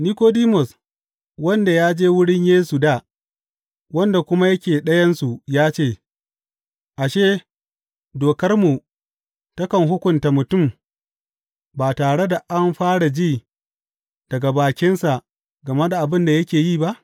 Nikodimus, wanda ya je wurin Yesu dā, wanda kuma yake ɗayansu ya ce, Ashe, dokarmu takan hukunta mutum ba tare da an fara ji daga bakinsa game da abin da yake yi ba?